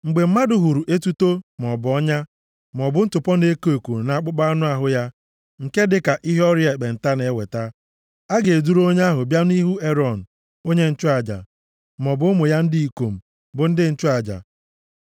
“Mgbe mmadụ hụrụ etuto, maọbụ ọnya, maọbụ ntụpọ na-eko eko nʼakpụkpọ anụ ahụ ya nke dị ka ihe ọrịa ekpenta na-eweta, a ga-eduru onye ahụ bịa nʼihu Erọn onye nchụaja maọbụ ụmụ ya ndị ikom, bụ ndị nchụaja.